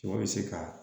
Sɔ bɛ se ka